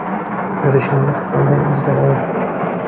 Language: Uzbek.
Yurishingiz qanday o‘zgaradi?